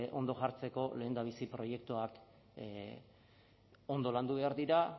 ondo jartzeko lehendabizi proiektuak ondo landu behar dira